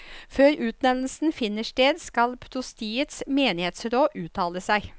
Før utnevnelsen finner sted, skal prostiets menighetsråd uttale seg.